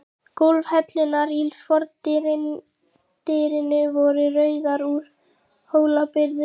Gólfhellurnar í fordyrinu voru rauðar, úr Hólabyrðu.